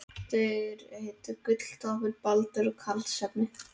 Þeir hétu Gulltoppur, Baldur og Karlsefni.